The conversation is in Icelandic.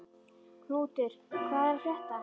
Knútur, hvað er að frétta?